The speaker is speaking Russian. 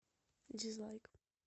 дизлайк